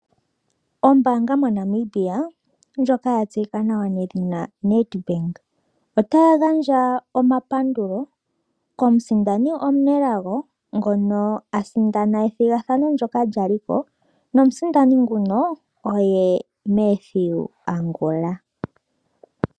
Ombaanga moNamibia ndjoka ya tseyika nawa nedhina Nedbank , otaya gandja omapandulo komusindani omunelago ngono asindana ethigathano ndjoka lya liko. Nomusindani nguno oye Mathew Angula.